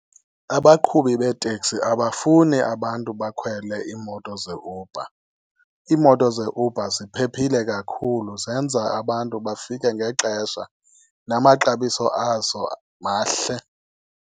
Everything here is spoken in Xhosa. Abaqhubi beeteksi abafuni abantu bakhwele iimoto zeUber. Iimoto zeUber ziphephile kakhulu zenza abantu bafike ngexesha, namaxabiso azo mahle.